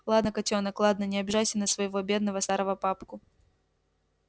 ладно котёнок ладно не обижайся на своего бедного старого папку